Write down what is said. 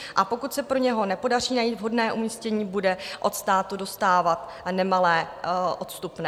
A pokud se pro něj nepodaří najít vhodné umístění, bude od státu dostávat nemalé odstupné.